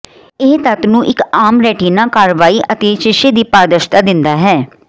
ਇਹ ਤੱਤ ਨੂੰ ਇੱਕ ਆਮ ਰੈਟਿਨਾ ਕਾਰਵਾਈ ਅਤੇ ਸ਼ੀਸ਼ੇ ਦੀ ਪਾਰਦਰਸ਼ਤਾ ਦਿੰਦਾ ਹੈ